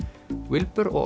wilbur og